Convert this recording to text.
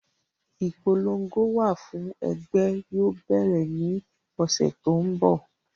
Ipolongo wà fún ẹgbẹ́ yóò bẹ̀rẹ̀ ní ọ́sẹ́ tó ń bọ̀